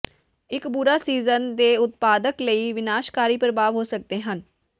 ਇੱਕ ਬੁਰਾ ਸੀਜ਼ਨ ਦੇ ਉਤਪਾਦਕ ਲਈ ਵਿਨਾਸ਼ਕਾਰੀ ਪ੍ਰਭਾਵ ਹੋ ਸਕਦੇ ਹਨ